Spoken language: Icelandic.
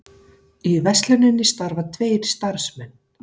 Í versluninni starfa tveir starfsmenn